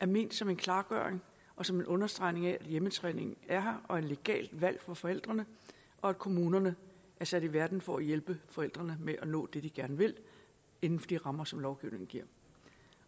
ment som en klargøring og som en understregning af at hjemmetræning er her og er et legalt valg for forældrene og at kommunerne er sat i verden for at hjælpe forældrene med at nå det de gerne vil inden for de rammer som lovgivningen giver